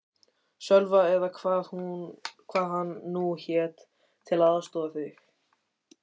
Sölva eða hvað hann nú hét, til að aðstoða þig.